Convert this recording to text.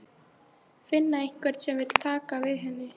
Finna einhvern sem vill taka við henni.